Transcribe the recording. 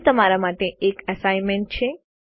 અહીં તમારા માટે એક એસાઈનમેન્ટ છે